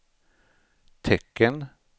tecken